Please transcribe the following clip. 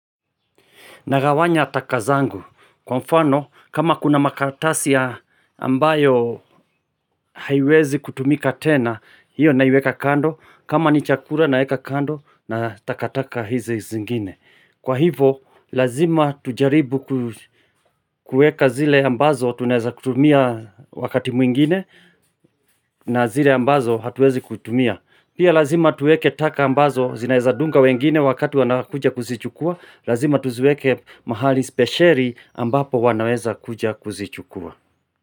Nagawanya taka zangu. Kwa mfano, kama kuna makaratasi ya ambayo haiwezi kutumika tena, hiyo naiweka kando. Kama ni chakula naweka kando na takataka hizi zingine. Kwa hivo, lazima tujaribu kueka zile ambazo tunaiza kutumia wakati mwingine na zile ambazo hatuwezi kutumia. Pia lazima tuweke taka ambazo zinaeza dunga wengine wakatu wana kuja kuzichukua Lazima tuziweke mahali speciali ambapo wanaweza kuja kuzichukua.